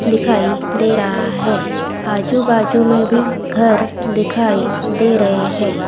दिखाई दे रहा है आजू बाजू में भी घर दिखाई दे रहे हैं।